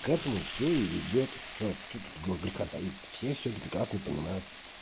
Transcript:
к этому все и идёт что тут греха таить то все это прекрасно понимают